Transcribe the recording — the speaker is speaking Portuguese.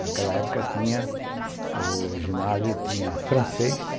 Naquela época, tinha, o ginásio tinha francês,